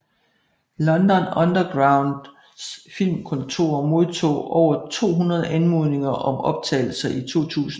London Undergrounds filmkontor modtog over 200 anmodninger om optagelser i 2000